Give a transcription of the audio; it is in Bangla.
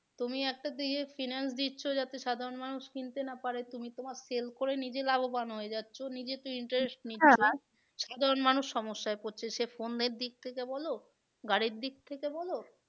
তুমি একটা finance দিচ্ছ যাতে সাধারণ মানুষ কিনতে না পারে তুমি তোমার sell করে নিজে লাভবান হয়ে যাচ্ছ নিজে তো সাধারণ মানুষ সমস্যায় পড়ছে সে phone এর দিক থেকে বলো গাড়ির দিক থেকে বলো